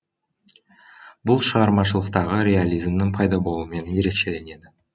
бұл шығармашылықтағы реализмнің пайда болуымен ерекшеленеді